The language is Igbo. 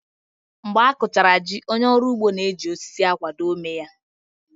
Mgbe a kụchara jí, onye ọrụ ugbo na-eji osisi akwado ómé ya